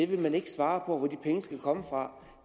vil ikke svare på hvor de penge skal komme fra